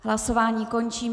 Hlasování končím.